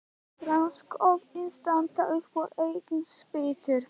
Hann grandskoðaði staðinn upp á eigin spýtur.